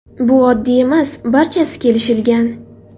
Bu oddiy emas, barchasi kelishilgan.